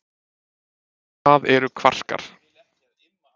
Hvað eru kvarkar?